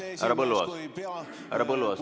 Härra Põlluaas, härra Põlluaas!